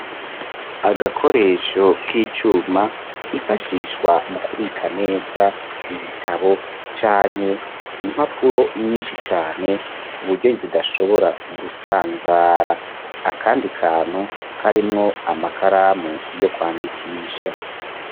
Agakoresho k'icuma, k'ifashishwa mu kubika neza, ibitabo canke impapuro nyinshi cane, kuburyo zidashobora gusanzara, akandi kantu karimwo Amakaramu yo kwandikisha.